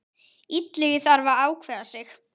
Illugi þarf að ákveða sig.